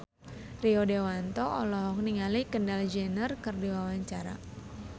Rio Dewanto olohok ningali Kendall Jenner keur diwawancara